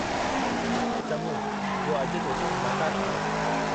चङो जो अॼु तो सां मुलाक़ात थी।